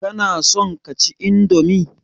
Kana son kaci indomi?